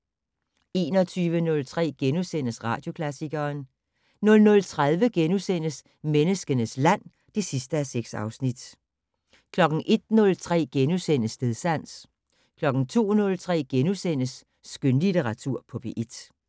21:03: Radioklassikeren * 00:30: Menneskenes land (6:6)* 01:03: Stedsans * 02:03: Skønlitteratur på P1 *